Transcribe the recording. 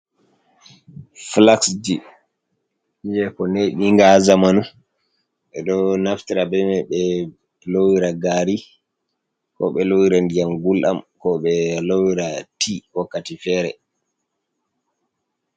Flaxji je ko neɓinga ha zamanu, ɗo naftira bemai be lowira gari, ko ɓe lowira ndiyam gulɗam, ko ɓe lowira ti wakkati fere.